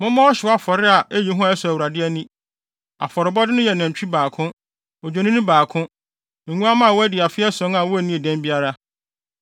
Mommɔ ɔhyew afɔre a eyi hua a ɛsɔ Awurade ani. Afɔrebɔde no yɛ nantwi ba baako, odwennini baako, nguamma a wɔadi afe ason a wonnii dɛm biara.